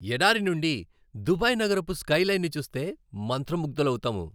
ఎడారి నుండి దుబాయ్ నగరపు స్కైలైన్ని చూస్తే మంత్రముగ్దులవుతాము.